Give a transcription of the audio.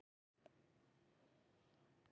Fólk brá sér bara út í móa.